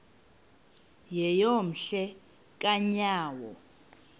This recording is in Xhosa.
yeyom hle kanyawo